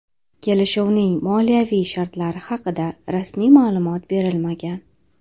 Kelishuvning moliyaviy shartlari haqida rasmiy ma’lumot berilmagan.